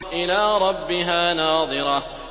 إِلَىٰ رَبِّهَا نَاظِرَةٌ